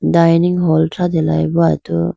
dining hall thratela boo atu.